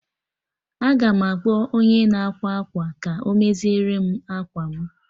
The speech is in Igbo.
Aga m akpọ onye na-ákwà akwa ka ọ mezierem akwa mụ